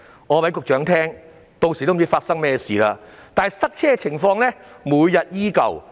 我告訴局長，屆時也不知道會發生甚麼事，但塞車的情況每天依舊。